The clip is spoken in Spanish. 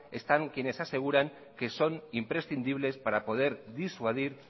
están quienes aseguran que son imprescindibles para poder disuadir